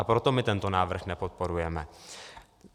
A proto my tento návrh nepodporujeme.